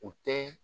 U tɛ